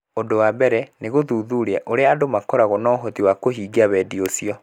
Ũndũ wa mbere, nĩ gũthuthuria ũrĩa andũ makoragwo na ũhoti wa kũhingia wendi ũcio.